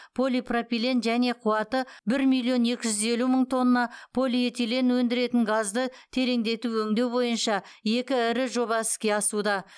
полипропилен және қуаты бір миллион екі жүз елу мың тонна полиэтилен өндіретін газды тереңдетіп өңдеу бойынша екі ірі жоба іске асуда